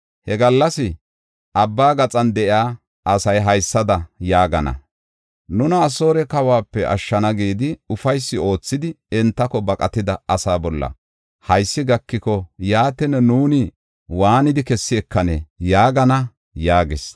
He gallas Abbaa gaxan de7iya asay haysada yaagana: ‘Nuna Asoore kawuwape ashshana gidi ufaysi oothidi entako baqatida asaa bolla haysi gakiko, yaatin, nuuni waanidi kessi ekanee?’ yaagana” yaagis.